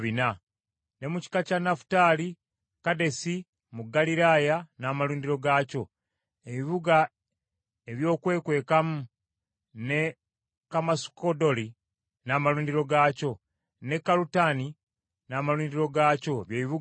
Ne mu kika kya Nafutaali, Kadesi mu Ggaliraaya n’amalundiro gaakyo, ebibuga ebyokwekwekamu, ne Kammasudoli n’amalundiro gaakyo, ne Kalutani n’amalundiro gaakyo, bye bibuga bisatu.